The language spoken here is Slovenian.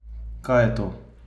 Kaj je to?